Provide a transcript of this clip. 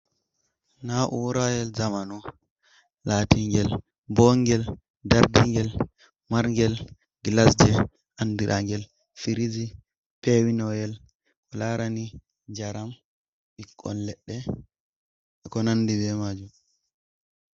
Naurayel zamanu latingel bongel dardingel marangal glasji andiragal fridge ,pewinoyel ko larani jaram ɓikkon ledde be gonwndi bemajum.